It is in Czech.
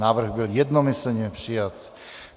Návrh byl jednomyslně přijat.